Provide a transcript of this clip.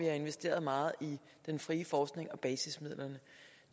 har investeret meget i den frie forskning og basisbevillingerne